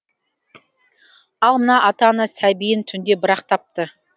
ал мына ата ана сәбиін түнде бірақ тапты